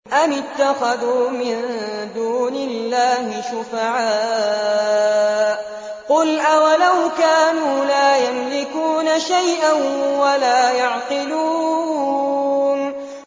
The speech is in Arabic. أَمِ اتَّخَذُوا مِن دُونِ اللَّهِ شُفَعَاءَ ۚ قُلْ أَوَلَوْ كَانُوا لَا يَمْلِكُونَ شَيْئًا وَلَا يَعْقِلُونَ